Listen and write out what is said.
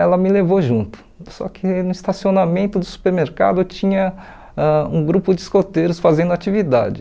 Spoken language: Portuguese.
Ela me levou junto, só que no estacionamento do supermercado tinha ãh um grupo de escoteiros fazendo atividade.